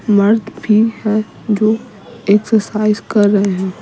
मर्द भी है जो एक्सरसाइज कर रहे हैं।